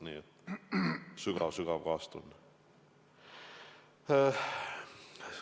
Veel kord minu sügav-sügav kaastunne.